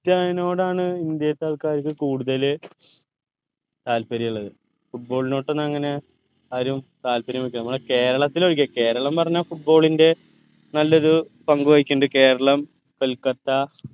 റ്റിനോടാണ് ഇന്ത്യേത്ത ആൾക്കാർക്ക് കൂടുതൽ താല്പര്യള്ളത് football നോട്ടങ്ങനെ ആരും താല്പര്യം വെക്ക നമ്മളെ കേരളത്തിൽ ഒഴികെ കേരളം പറഞ്ഞ football ന്റെ നല്ലൊരു പങ്ക് വഹിക്കിന്നിണ്ട് കേരളം കൊൽക്കത്ത